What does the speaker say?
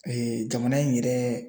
Ee jamana in yɛrɛ